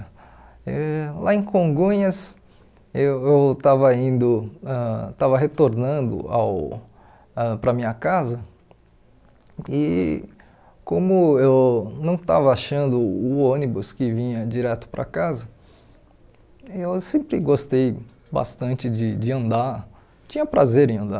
Eh lá em Congonhas, eu eu estava indo ãh estava retornando ao ãh para a minha casa e como eu não estava achando o ônibus que vinha direto para casa, eu sempre gostei bastante de de andar, tinha prazer em andar.